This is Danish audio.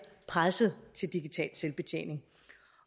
presset til digital selvbetjening